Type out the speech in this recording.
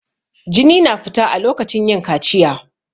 Jini na fita a lokacin yin kaciya.